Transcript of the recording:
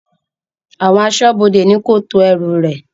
Àwọn asọ́bodè ni kò tù ẹ̀rù rẹ̀